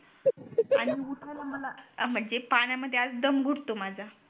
म्हणजे पाण्यामध्ये आधीच दम घुटतो माझा